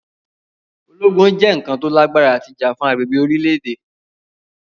Ologun jẹ oun kan to lagbara ti ja fun agbegbe ti orilẹ-ede.